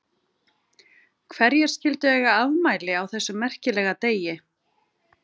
Hverjir skildu eiga afmæli á þessum merkilega degi?